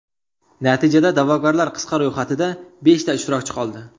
Natijada da’vogarlar qisqa ro‘yxatida beshta ishtirokchi qoldi.